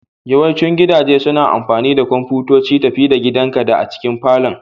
Yawancin gidaje suna da kwamfutoci tafi-da-gidanka da a cikin falon.